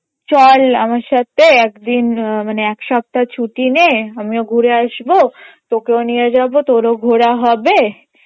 চল আমার সাথে একদিন মানে একসপ্তাহ ছুটি নে আমিও ঘুরে আসবো তোকেও নিয়ে যাবো তোরও ঘোরা হবে